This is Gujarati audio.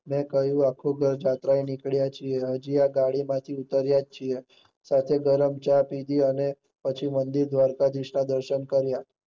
મેં કહીંયુ કે અમે આખું ઘર જાત્રા એ આવ્યા છે, હજુ ગાડી માંથી ઉતર્યા છીએ, સાથે ગરમ ચા પીધી, અને પછી મંદિર દ્વારકાધીશ ના દર્શન કર્યા.